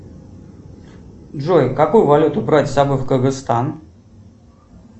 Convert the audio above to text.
джой какую валюту брать с собой в кыргызстан